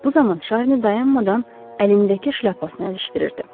Bu zaman Şarni dayanmadan əlindəki şləpasını əzişdirirdi.